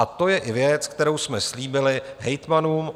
A to je i věc, kterou jsme slíbili hejtmanům.